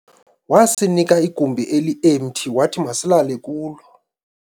wasinika igumbi elihamte wathi masilale kulo